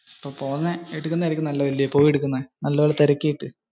അപ്പോ പോയി എടുക്കന്നതായിരിക്കും നല്ലതു ല്ലേ? നല്ല പോലെ തിരക്കിയിട്ടു.